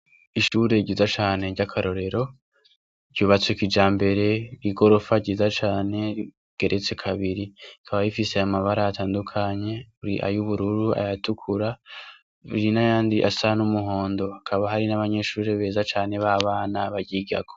Ishure ryiza cane ry'akarorero, ryubatse kijambere, igorofa ryiza cane rigeretse kabiri. Rikaba rifise amabara atandukanye: ay'ubururu, ayatukura uri n'ayandi asa n'umuhondo hakaba hari n'abanyeshure beza cane b'abana baryigako.